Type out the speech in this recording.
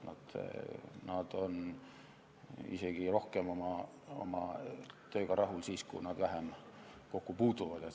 Nad on oma tööga isegi rohkem rahul siis, kui nad õppe- ja kasvatustööga vähem kokku puutuvad.